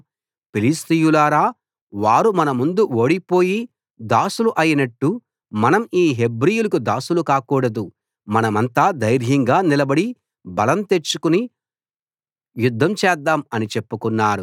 ఫిలిష్తీయులారా వారు మన ముందు ఓడిపోయి దాసులు అయినట్టు మనం ఈ హెబ్రీయులకి దాసులు కాకూడదు మనమంతా ధైర్యంగా నిలబడి బలం తెచ్చుకుని యుద్ధం చేద్దాం అని చెప్పుకున్నారు